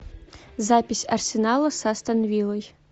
запись арсенала с астон виллой